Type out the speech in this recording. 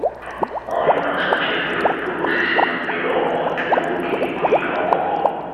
anyị na-asacha efere mkpụrụ osisi na nmiri ọkụ um tupu oge ịkụ ihe ọkụkụ